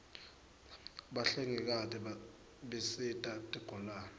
bahlengikati bisita tigulane